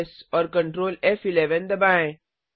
CtrlS और Ctrl F दबाएँ